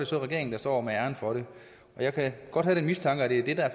så regeringen der står med æren for det jeg kan godt have den mistanke at det er det der er